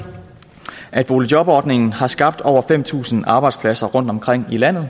at boligjobordningen har skabt over fem tusind arbejdspladser rundtomkring i landet og